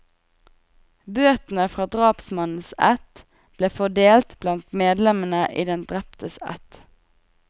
Bøtene fra drapsmannens ætt ble fordelt blant medlemmer i den dreptes ætt.